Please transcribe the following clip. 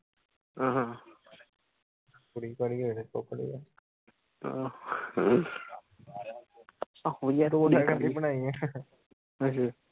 ਕੁੜੀ ਕਾਹਦੀ ਆਹੋ ਯਾਰ